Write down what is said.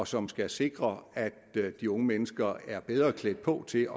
som skal sikre at de unge mennesker er bedre klædt på til